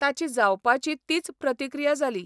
ताची जावपाची तीच प्रतिक्रिया जाली.